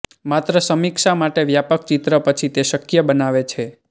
માત્ર સમીક્ષા માટે વ્યાપક ચિત્ર પછી તે શક્ય બનાવે છે